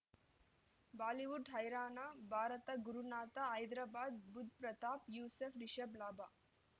Bollywood ಹೈರಾಣ ಭಾರತ ಗುರುನಾಥ ಹೈದರಾಬಾದ್ ಬುಧ್ ಪ್ರತಾಪ್ ಯೂಸುಫ್ ರಿಷಬ್ ಲಾಭ